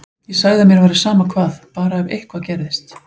Ég sagði að mér væri sama hvað, bara ef eitthvað gerðist.